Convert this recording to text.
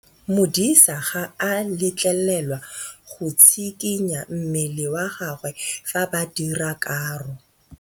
Modise ga a letlelelwa go tshikinya mmele wa gagwe fa ba dira karô.